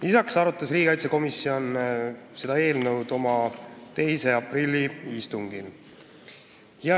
Lisaks arutas riigikaitsekomisjon seda eelnõu oma 2. aprilli istungil.